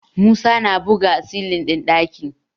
Musa na buga silin ɗin ɗaki